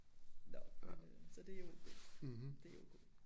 Nåh men øh så det jo det det er O K